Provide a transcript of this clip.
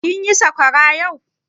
Kin yi sakwara yau?